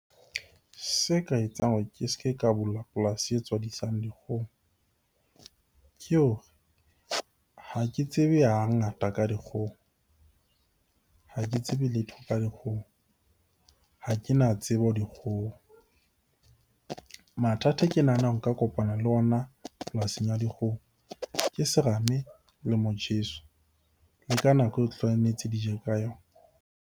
Se ka etsang hore ke se ke ka bula polasi e tswadisa dikgoho ke hore ha ke tsebe ha ngata ka dikgomo, ha ke tsebe letho ka dikgomo, ha ke na tsebo dikgoho. Mathata a ke nahanang nka kopana le ona polasing ya dikgoho ke serame le motjheso, le ka nako eo tlametse di je ka yona.